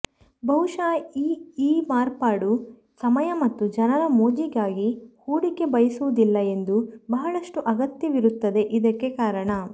ಬಹುಶಃ ಈ ಈ ಮಾರ್ಪಾಡು ಸಮಯ ಮತ್ತು ಜನರು ಮೋಜಿಗಾಗಿ ಹೂಡಿಕೆ ಬಯಸುವುದಿಲ್ಲ ಎಂದು ಬಹಳಷ್ಟು ಅಗತ್ಯವಿರುತ್ತದೆ ಇದಕ್ಕೆ ಕಾರಣ